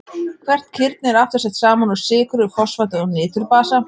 Hvert kirni er aftur sett saman úr sykru, fosfati og niturbasa.